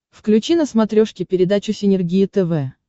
включи на смотрешке передачу синергия тв